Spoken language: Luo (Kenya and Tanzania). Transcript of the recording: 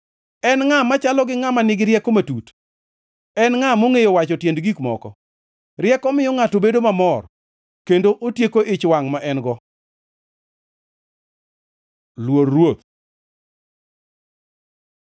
En ngʼa machalo gi ngʼama nigi rieko matut? En ngʼa mongʼeyo wacho tiend gik moko? Rieko miyo ngʼato bedo mamor kendo otieko ich wangʼ ma en-go. Luor Ruoth